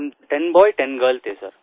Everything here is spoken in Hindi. हम 10 टेन बॉय 10 टेंगिर्ल थेसिर